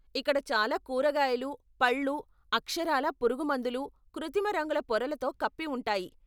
ఇక్కడ చాలా కూరగాయలు, పళ్ళు అక్షరాలా పురుగుమందులు, కృత్రిమ రంగుల పొరలతో కప్పి ఉంటాయి.